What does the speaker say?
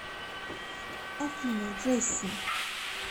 афина джесси